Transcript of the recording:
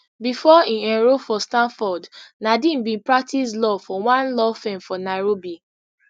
before e enrol for stanford nadeem bin practice law for one law firm for nairobi